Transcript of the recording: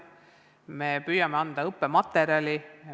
Me püüame anda õppematerjali.